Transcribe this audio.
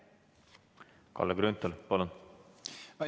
Kalle Grünthal, palun!